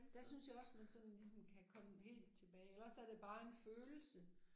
Der synes jeg også man sådan ligesom kan komme helt tilbage eller også er det bare en følelse